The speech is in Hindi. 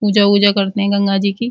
पूजा-वूजा करते हैं गंगा जी की।